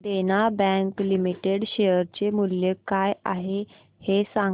देना bank limited share चे मूल्य काय आहे हे सांगा